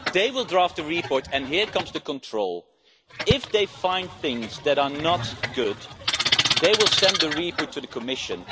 They will draft the report and then comes the control. If they find things that are not good, they will send the report to the Commission.